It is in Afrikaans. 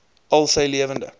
al sy lewende